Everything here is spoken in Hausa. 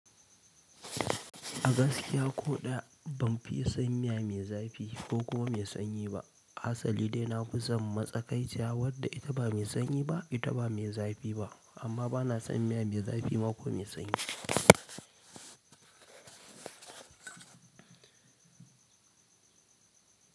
A gaskiya ko ɗaya ban fiye san miya mai zafi ko kuma mai sanyi ba. Asali dai na fi son matsakaiciya wadda ita ba mai sanyi ba, ita ba mai zafi ba amma bana son miya mai zafi ma ko mai sanyi.